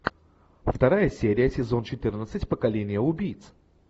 вторая серия сезон четырнадцать поколение убийц